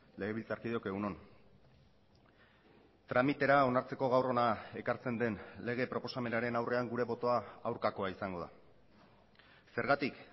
legebiltzarkideok egun on tramitera onartzeko gaur hona ekartzen den lege proposamenaren aurrean gure botoa aurkakoa izango da zergatik